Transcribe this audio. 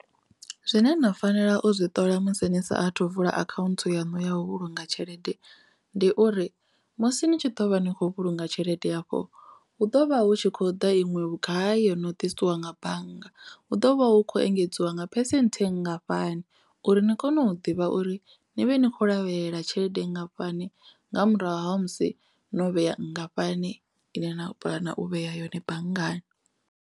Zwine na fanela u zwi ṱola musi ni saathu vula account yanu ya u vhulunga tshelede ndi uri musi ni tshi ḓo vha ni kho vhulunga tshelede hafho hu ḓo vha hu tshi khou ḓa iṅwe vhugai yo no ḓisiwa nga bannga hu ḓo vha hu khou engedziwa nga phesenthe ngafhani uri ni kone u ḓivha uri ni vhe nikho lavhelela tshelede ngafhani nga murahu ha musi no vhea nngafhani ine na puḽana u vhea yone banngani.